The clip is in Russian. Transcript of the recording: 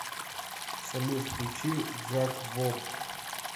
салют включи джаквоб